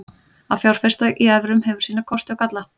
Að fjárfesta í evrum hefur sína kosti og galla.